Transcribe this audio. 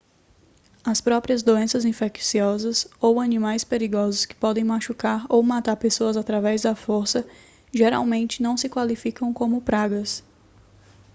as próprias doenças infecciosas ou animais perigosos que podem machucar ou matar pessoas através da força geralmente não se qualificam como pragas